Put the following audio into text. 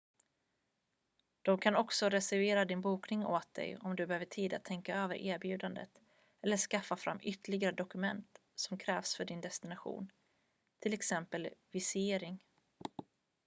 de kan också reservera din bokning åt dig om du behöver tid att tänka över erbjudandet eller skaffa fram ytterligare dokument som krävs för din destination t.ex. visering